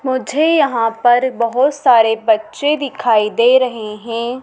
मुझे यहाँ पर बहुत सारे बच्चे दिखाई दे रहे हैं।